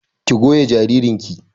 Ki goya jaririn ki!